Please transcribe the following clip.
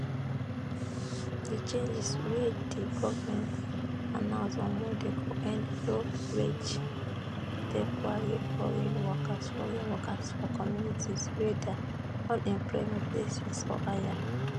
di changes wey di goment announce on monday go end lowwage temporary foreign workers foreign workers for communities wey dia unemployment dey 6 or higher